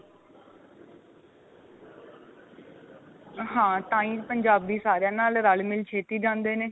ਹਾਂ ਤਾਂਈ ਪੰਜਾਬੀ ਸਾਰਿਆਂ ਨਾਲ ਰਲ ਮਿਲ ਛੇਤੀ ਜਾਂਦੇ ਨੇ